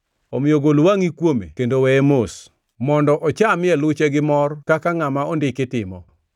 Omiyo gol wangʼi kuome kendo weye mos, mondo ochamie luche gi mor kaka ngʼama ondiki timo.